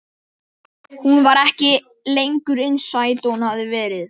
Og aðrir þurfa að gjalda fyrir okkar syndir.